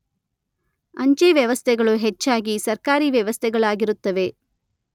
ಅಂಚೆ ವ್ಯವಸ್ಥೆಗಳು ಹೆಚ್ಚಾಗಿ ಸರಕಾರಿ ವ್ಯವಸ್ಥೆಗಳಾಗಿರುತ್ತವೆ.